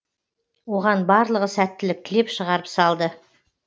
оған барлығы сәттілік тілеп шығарып салды